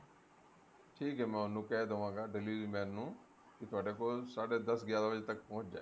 ਠੀਕ ਐ ਮੈਂ ਉਹਨੂੰ ਕਹਿ ਦਵਾਂਗਾ delivery man ਨੂੰ ਕਿ ਤੁਹਾਡੇ ਕੋਲ ਸਾਡੇ ਦਸ ਗਿਆਰਾ ਵਜੇ ਤੱਕ ਪਹੁੰਚ ਜਾਏ